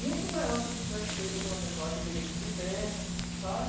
muito melhor do que se eu tivesse feito aquela festa lá, que eu teria que ir de terno, sabe?